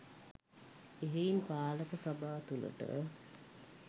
එහෙයින් පාලක සභා තුළට